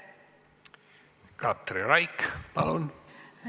Katri Raik, palun!